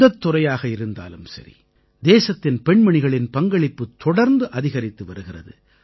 எந்தத் துறையாக இருந்தாலும் சரி தேசத்தின் பெண்மணிகளின் பங்களிப்பு தொடர்ந்து அதிகரித்து வருகிறது